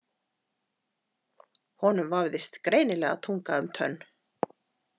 Honum vafðist greinilega tunga um tönn.